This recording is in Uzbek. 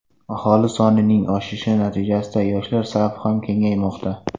Aholi sonining oshishi natijasida yoshlar safi ham kengaymoqda.